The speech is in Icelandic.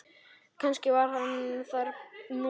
Kannski var hann þar núna.